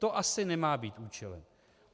To asi nemá být účelem.